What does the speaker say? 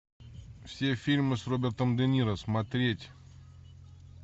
все фильмы с робертом де ниро смотреть